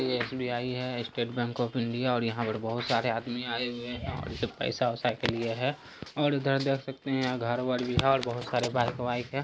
ये एस_बी_आई है State Bank of India है और यहाँ पर बोहत सारे आदमी आए हुए हैं और ये पैसा-वैसा के लिए है। और उधर देख सकते घर-वर भी है और बोहत सारे बाइक - वाइक है।